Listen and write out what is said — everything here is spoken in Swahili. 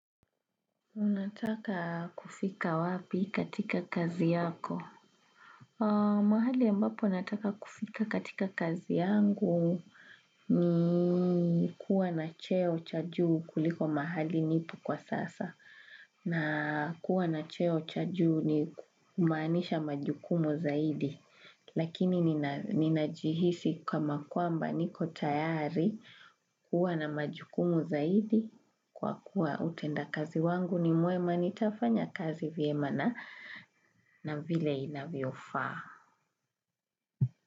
Unataka kufika wapi katika kazi yako. Mahali ambapo nataka kufika katika kazi yangu ni kuwa na cheo cha juu kuliko mahali nipo kwa sasa. Na kuwa na cheo cha juu ni kumaanisha majukumu zaidi. Lakini ninajihisi kama kwamba niko tayari kuwa na majukumu zaidi. Kwa kuwa utenda kazi wangu ni mwema nitafanya kazi vyema na na vile inavyofaa.